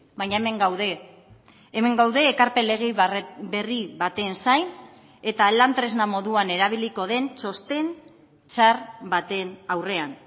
baina hemen gaude hemen gaude ekarpen lege berri baten zain eta lan tresna moduan erabiliko den txosten txar baten aurrean